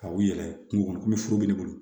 Ka u yɛrɛ kungo kɔnɔ komi foro bɛ ne bolo